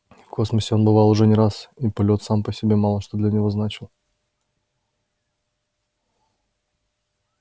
в космосе он бывал уже не раз и полёт сам по себе мало что для него значил